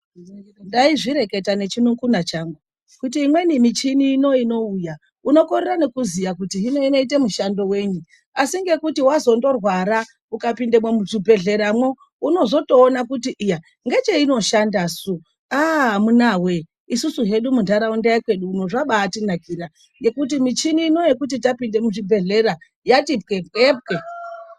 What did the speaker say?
Ndaizvireketa nechinun'una changu kuti imweni michini ino inouya, unokorera nekuziya kuti hino inoite mushando wenyi .Asi ngekuti wazondorwara ukapindemwo muzvibhleramwo unozotoona kuti iya ngecheinoshanda su? Aah amunawee !Isusu hedu munharaunda yekwedu uno zvabatinakira ,ngekuti michini ini yekuti tapinde muzvibhehlera yabati pwepwepwe.